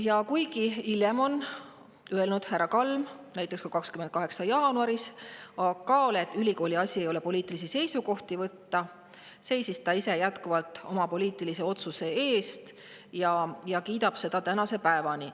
Ja kuigi hiljem on härra Kalm öelnud – näiteks 28. jaanuaril ka AK-le –, et ülikooli asi ei ole poliitilisi seisukohti võtta, seisab ta ise jätkuvalt oma poliitilise otsuse eest ja kiidab seda tänase päevani.